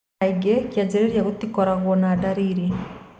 Kaingĩ kĩanjĩrĩria gũtikorago na ndariri.